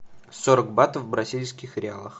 сорок батов в бразильских реалах